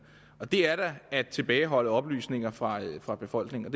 og det er da at tilbageholde oplysninger fra fra befolkningen og